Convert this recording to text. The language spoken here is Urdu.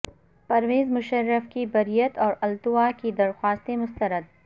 پرویز مشرف کی بریت اور التواء کی درخواستیں مسترد